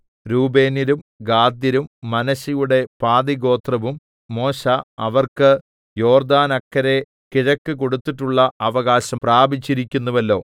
രൂബേന്യരും ഗാദ്യരും മനശ്ശെയുടെ പാതിഗോത്രവും മോശെ അവർക്ക് യോർദ്ദാനക്കരെ കിഴക്ക് കൊടുത്തിട്ടുള്ള അവകാശം പ്രാപിച്ചിരിക്കുന്നുവല്ലോ